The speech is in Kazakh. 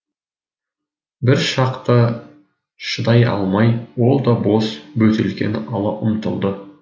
бір шақта шыдай алмай ол да бос бөтелкені ала ұмтылды